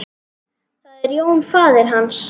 Það er Jón faðir hans.